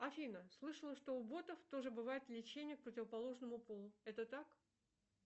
афина слышала что у ботов тоже бывает влечение к противоположному полу это так